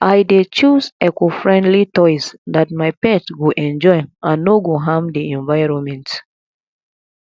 i dey choose ecofriendly toys that my pet go enjoy and no go harm the environment